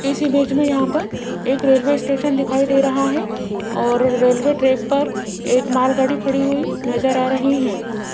इस इमेज में यहां पर एक रेलवे स्टेशन दिखाई दे रहा है और रेलवे ट्रैक पर एक मालगाड़ी खड़ी हुई नजर आ रही है।